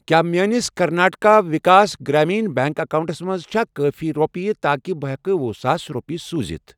کیٛاہ میٲنِس کرناٹکا وِکاس گرٛامیٖن بیٚنٛک اکاونٹَس منٛز چھا کٲفی رۄپیہِ تاکہِ بہٕ ہٮ۪کہٕ وہُ ساس رۄپیہِ سوٗزِتھَ؟